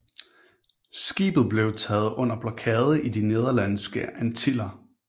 Skibet blev taget under blokade i de Nederlandske Antiller